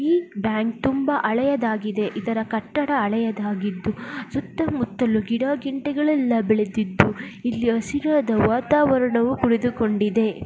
ಈ ಬ್ಯಾಂಕ್ ತುಂಬ ಅಳೆಯದಾಗಿದೆ ಇದರ ಕಟ್ಟಡ ಅಳೆಯದಾಗಿದ್ದು ಮುತ್ತಲು ಗಿಡ ಗಂಟೆಗಳಲ್ಲಾ ಬೆಳೆದಿದ್ದು ಇಲ್ಲಿ ಹಸಿರಾದ ವಾತಾವರಣವು ಉಳಿದುಕೊಂಡಿದೆ.